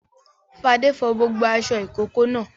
Fadé fọ gbogbo aṣọ ìkókó náà.